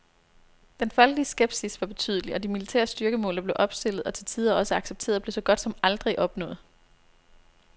Den folkelige skepsis var betydelig, og de militære styrkemål, der blev opstillet, og til tider også accepteret, blev så godt som aldrig opnået.